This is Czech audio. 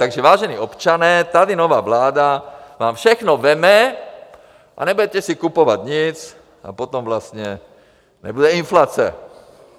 Takže vážení občané, tady nová vláda vám všechno vezme a nebudete si kupovat nic a potom vlastně nebude inflace.